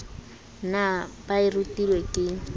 na ba e rutilwe ke